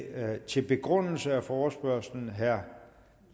er det til begrundelse af forespørgslen herre